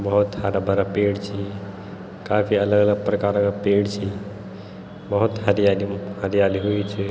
बहौत हरा-भरा पेड़ छी काफी अलग-अलग प्रकार का पेड़ छी बहौत हरियाली हरियाली हुईं च।